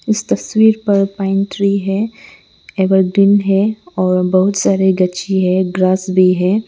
इस तस्वीर पर पैंट्री है एवरग्रीन है और बहुत सारे गच्ची है ग्रास भी है।